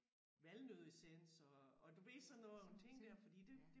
Valnøddeessens og og du ved sådan nogle ting der fordi det